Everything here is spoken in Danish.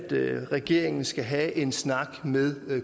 regeringen skal have en snak med